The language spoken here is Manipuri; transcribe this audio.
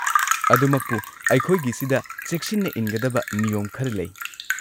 ꯑꯗꯨꯃꯛꯄꯨ, ꯑꯩꯈꯣꯏꯒꯤꯁꯤꯗ ꯆꯦꯛꯁꯤꯟꯅ ꯏꯟꯒꯗꯕ ꯅꯤꯌꯣꯝ ꯈꯔ ꯂꯩ꯫